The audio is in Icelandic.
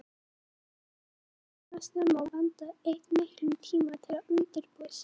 Hún hafði vaknað snemma að vanda og eytt miklum tíma í að undirbúa sig.